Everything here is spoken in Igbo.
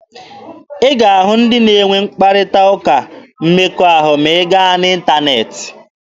A ga-ahụ ndị na-enwe mkparịta ụka mmekọahụ ma a gaa n'ịntaneetị.